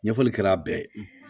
Ɲɛfɔli kɛra a bɛɛ ye